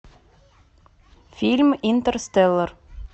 фильм интерстеллар